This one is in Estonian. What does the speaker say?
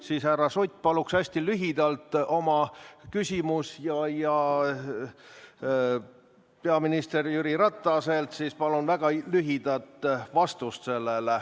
Seetõttu, härra Sutt, palun esitage oma küsimus hästi lühidalt ja peaminister Jüri Rataselt palun sellele lühidat vastust.